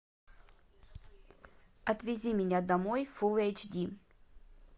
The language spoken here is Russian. отвези меня домой фулл эйч ди